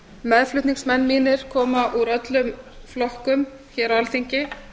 meðflutningsmenn mínir koma úr öllum flokkum hér á alþingi